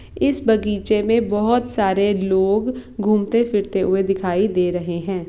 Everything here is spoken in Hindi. इस बगीचे मे बोहोत सारे लोग घूमते-फिरते हुए दिखाई दे रहे है ।